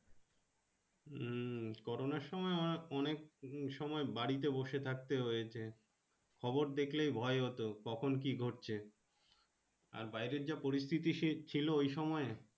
উম corona সময় অনেক সময় বাড়িতে বসে থাকতে হয়েছে খবর দেখলে ভয় হত কখন কি ঘটছে আর বাইরে যা পরিস্থিতি ছিল ওই সময় এ।